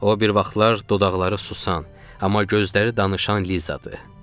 O bir vaxtlar dodaqları susan, amma gözləri danışan Lizadır.